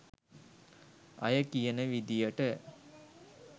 අය කියන විදියට